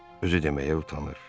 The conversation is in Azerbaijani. Özü deməyə utanır.